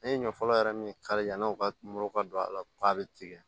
An ye ɲɔ fɔlɔ yɛrɛ min kari yanni u ka mori ka don a la k'a bɛ tigɛ